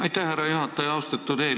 Aitäh, härra juhataja!